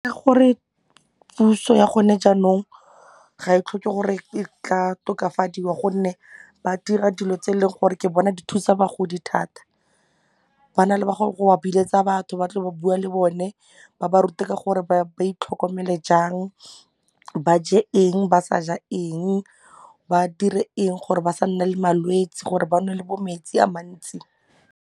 Gore puso ya gone jaanong ga e tlhoke gore e ka tokafadiwa gonne ba dira dilo tse e leng gore ke bona di thusa bagodi thata, ba na le go ba biletsa batho ba tlo ba bua le bone ba ba rute ka gore ba itlhokomele jang ba je eng ba sa ja eng ba dire eng gore ba sa nna le malwetsi gore ba nwe le bo metsi a mantsi.